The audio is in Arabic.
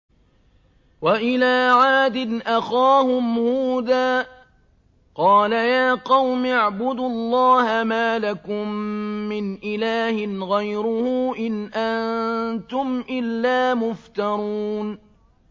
وَإِلَىٰ عَادٍ أَخَاهُمْ هُودًا ۚ قَالَ يَا قَوْمِ اعْبُدُوا اللَّهَ مَا لَكُم مِّنْ إِلَٰهٍ غَيْرُهُ ۖ إِنْ أَنتُمْ إِلَّا مُفْتَرُونَ